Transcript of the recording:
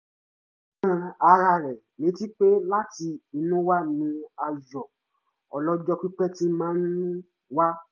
ó rán ara rẹ̀ létí pé láti inú wá ní ayọ̀ ọlọ́jọ́ pípẹ́ ti máa ń wá